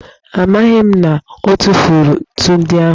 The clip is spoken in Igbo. Amaghị m na ọ tụfuru ntu ndị ahụ.